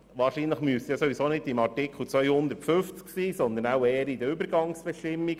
Wahrscheinlich wäre dies ohnehin nicht in Artikel 250 festzulegen, sondern eher in den Übergangsbestimmungen.